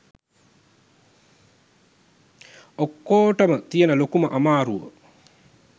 ඔක්කෝටම තියෙන ලොකුම අමාරුව